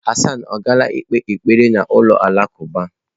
Hassan ọ gaala ikpe ekpere n'ụlọ alakụba?